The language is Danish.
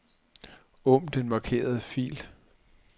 Åbn den markerede fil.